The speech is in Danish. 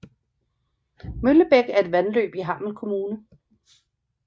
Møllebæk er et vandløb i Hammel Kommune